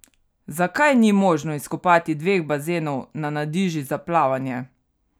Zakaj ni možno izkopati dveh bazenov na Nadiži za plavanje?